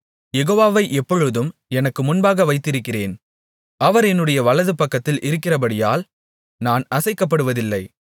யெகோவாவை எப்பொழுதும் எனக்கு முன்பாக வைத்திருக்கிறேன் அவர் என்னுடைய வலதுபக்கத்தில் இருக்கிறபடியால் நான் அசைக்கப்படுவதில்லை